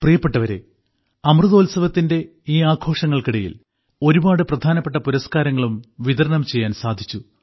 പ്രിയപ്പെട്ടവരെ അമൃതോത്സവത്തിന്റെ ഈ ആഘോഷങ്ങൾക്കിടയിൽ ഒരുപാട് പ്രധാനപ്പെട്ട പുരസ്കാരങ്ങളും വിതരണം ചെയ്യാൻ സാധിച്ചു